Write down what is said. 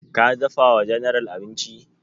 Ka dafa wa general abinci?